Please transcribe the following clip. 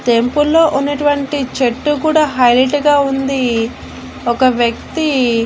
టెంపుల్లో ఉన్నటువంటి చెట్టు కూడా హైలట్ గా ఉంది ఒక వ్యక్తి--